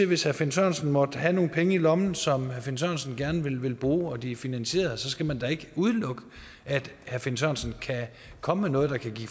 hvis herre finn sørensen måtte have nogle penge i lommen som herre finn sørensen gerne vil bruge og de er finansierede så skal man da ikke udelukke at herre finn sørensen kan komme med noget der kan